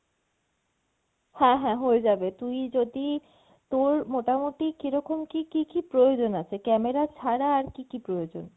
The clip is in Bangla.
হ্যাঁ হ্যাঁ হয়ে যাবে তুই যদি তোর মোটামটি কীরকম কী কী কী প্রয়োজন আছে camera ছাড়া আর কী কী প্রয়োজন?